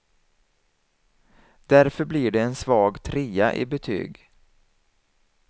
Därför blir det en svag trea i betyg.